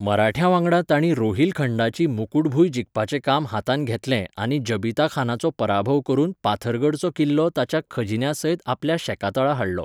मराठ्यांवांगडा तांणी रोहिलखंडाचीं मुकुटभूंय जिखपाचें काम हातांत घेतलें आनी जबीताखानाचो पराभव करून पाथरगडचो किल्लो ताच्या खजिन्यासयतआपल्या शेकातळा हाडलो.